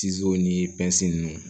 ni ninnu